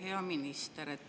Hea minister!